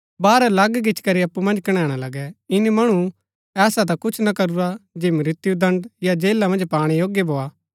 बाहर अलग गिचीकरी अप्पु मन्ज कणैणा लगै ईनी मणु ऐसा ता कुछ ना करूरा जे मृत्युदण्ड या जेला मन्ज पाणै योग्य भोआ